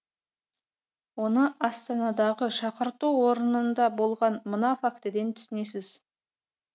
оны астанадағы шақырту орнында болған мына фактіден түсінесіз